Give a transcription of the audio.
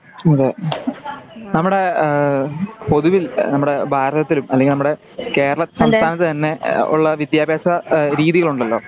അതെ നമ്മുടെ ആ പൊതുവിൽ നമ്മുടെ ഭാരതത്തിലും അല്ലങ്കിൽ നമ്മുടെ കേരള സംസ്ഥാനത്തു തന്നെ ഏ ആ വിത്യാഭ്യാസ രീതികളുണ്ടല്ലോ?